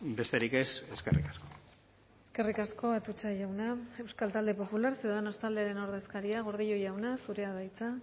besterik ez eskerrik asko eskerrik asko atutxa jauna euskal talde popular ciudadanos taldearen ordezkaria gordillo jauna zurea da hitza